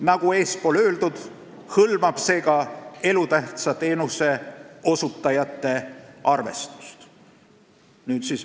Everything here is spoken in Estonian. Nagu eespool öeldud, hõlmab see ka elutähtsa teenuse osutajate arvestust.